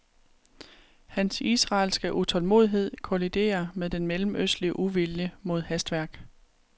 Hans israelske utålmodighed kolliderer med den mellemøstlige uvilje mod hastværk.